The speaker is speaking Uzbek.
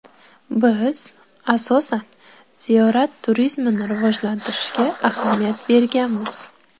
Biz, asosan, ziyorat turizmini rivojlantirishga ahamiyat berganmiz.